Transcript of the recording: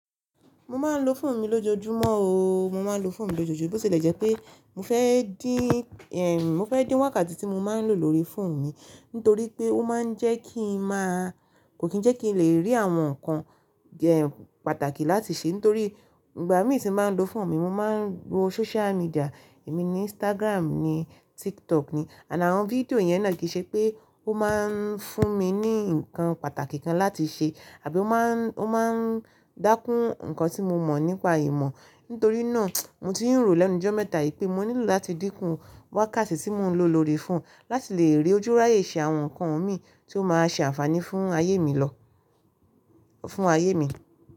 Mo máa ń lo fóònù mí lójoojúmọ́ o. Mo máa ń lo fóònù lójoojúmọ́, bó ṣe lè jẹ́ pé mo fẹ́ dín, eh, mo fẹ́ dín wákàtí tí mo máa ń lò lórí fóònù mi nítorí pé ó máa ń jẹ́ kí n máa-- kò kí ń jẹ́ kí n lè rí àwọn nǹkan, e, pàtàkì láti ṣe. Nítorí ìgbà mí tí mo ń lo fóònù mi, mo máa ń wo social media, èmi ni Instagram ni, TikTok ni àtí àwọn fídíò yẹn náà kì í ṣe pé ó máa ń fún mi ní nǹkan pàtàkì kan láti ṣe àbí ó má ń, ó má ń dákún nǹkan tí mo mọ̀ nípa ìmọ̀. Nítorí náà mo ti rò lẹ́nu jọ́ mẹ́ta yí pé mo nílò láti dínkù wákàtí tí mo ń lò lórí fóònù láti lè rí ojúúráyè ṣe àwọn nǹkan mi tí ó máa ṣe àǹfààní fún ayé mi lọ, fún ayé mi.